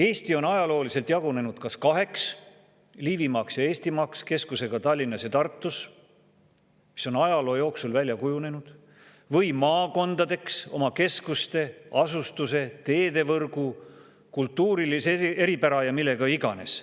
Eesti on ajalooliselt jagunenud kas kaheks – Liivimaaks ja Eestimaaks keskusega Tallinnas ja Tartus, see on ajaloo jooksul välja kujunenud – või maakondadeks oma keskuste, asustuse, teedevõrgu, kultuurilise eripära ja millega iganes.